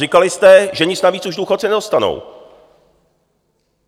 Říkali jste, že nic navíc už důchodci nedostanou.